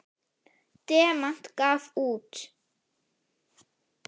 Demant gaf út.